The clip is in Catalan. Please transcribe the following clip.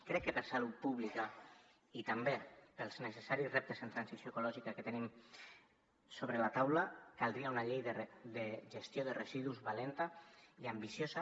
crec que per salut pública i també pels necessaris reptes en transició ecològica que tenim sobre la taula caldria una llei de gestió de residus valenta i ambiciosa